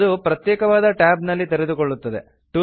ಅದು ಪ್ರತ್ಯೇಕವಾದ ಟ್ಯಾಬ್ ನಲ್ಲಿ ತೆರೆದುಕೊಳ್ಳುತ್ತದೆ